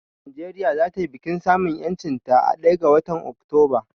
Nigeria za ta yi bikin samun ƴancin ta a ɗaya ga watan Oktoba